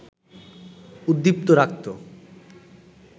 উদ্দীপ্ত রাখত